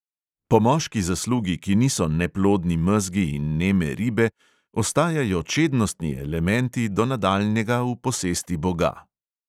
Po moški zaslugi, ki niso neplodni mezgi in neme ribe, ostajajo čednostni elementi do nadaljnega v posesti boga.